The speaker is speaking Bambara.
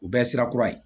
U bɛɛ sira kura ye